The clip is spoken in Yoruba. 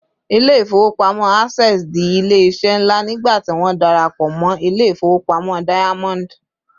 ilé ifowopamọ access di ilé iṣẹ nla nigba tí won darapo mo ilé ifowopamọ diamond